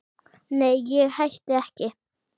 Nei, ég hætti ekki.